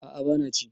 a a bana ci